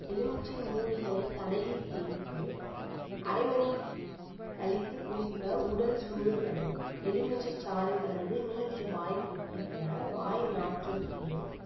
எலுமிச்சை மூடிகளை தலையில் தேய்த்து அரைமணி கழித்துக் குளிக்க உடல் சூடு தணியும் எலுமிச்சை சாறு கலந்து நீரில் வாய் கொப்பளிக்க வாய் நாற்றம் தீரும்